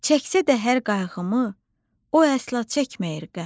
Çəksə də hər qayğımı, o əsla çəkməyir qəm.